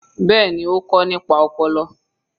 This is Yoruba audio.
Bẹ́ẹ̀ni, ó kọ nípa ọpọlọ.